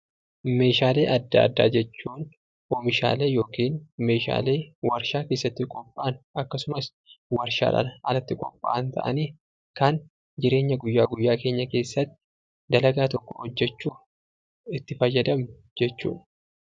Meeshaalee adda addaa jechuun oomishaalee yookiin meeshaalee warshaa keessatti qophaa'an akkasumas warshaadhaan alatti qophaa'an ta'anii, kan jireenya guyyaa guyyaa keenya keessatti dalagaa tokko hojjechuuf itti fayyadamnu jechuu dha.